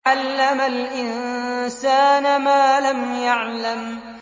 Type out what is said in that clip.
عَلَّمَ الْإِنسَانَ مَا لَمْ يَعْلَمْ